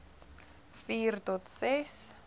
vier tot ses